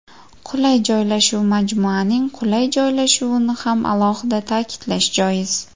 Qulay joylashuv Majmuaning qulay joylashuvini ham alohida ta’kidlash joiz.